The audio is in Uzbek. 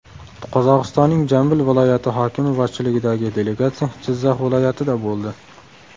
Qozog‘istonning Jambil viloyati hokimi boshchiligidagi delegatsiya Jizzax viloyatida bo‘ldi.